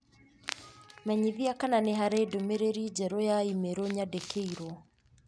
Menyithia kana nĩ harĩ ndũmĩrĩri njerũ ya i-mīrū yandĩkĩirũo.